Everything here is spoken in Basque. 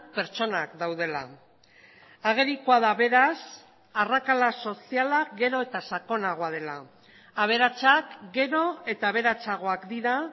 pertsonak daudela agerikoa da beraz arrakala soziala gero eta sakonagoa dela aberatsak gero eta aberatsagoak dira